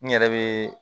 N yɛrɛ bɛ